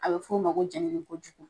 A be f'o ma ko jɛɲini ko jugu.